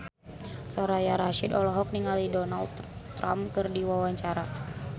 Soraya Rasyid olohok ningali Donald Trump keur diwawancara